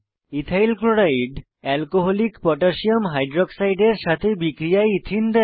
ethyl chloride alcoholic potassium হাইক্সাইডের সাথে বিক্রিয়ায় ইথিন দেয়